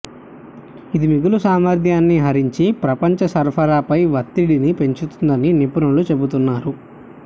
ఇది మిగులు సామర్ధ్యాన్ని హరించి ప్రపంచ సరఫరాపై వత్తిడిని పెంచుతుందని నిపుణులు చెబుతున్నారు